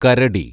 കരടി